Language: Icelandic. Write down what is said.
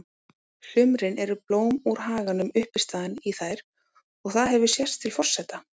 sumrin eru blóm úr haganum uppistaðan í þær og það hefur sést til forseta